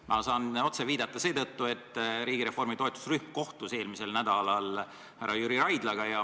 Ma saan otse viidata seetõttu, et riigireformi toetusrühm kohtus eelmisel nädalal härra Jüri Raidlaga.